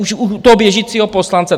Už u toho běžícího poslance.